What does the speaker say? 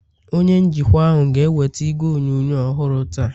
onye njikwa ahụ ga-eweta igwe onyonyo ọhụrụ taa